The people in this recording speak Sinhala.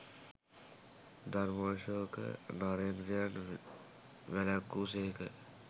ධර්මාශෝක නරේන්ද්‍රයන් වැළැක්වූ සේක